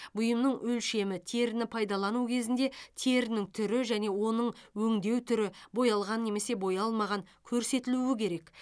бұйымның өлшемі теріні пайдалану кезінде терінің түрі және оның өңдеу түрі боялған немесе боялмаған көрсетілуі керек